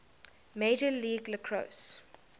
major league lacrosse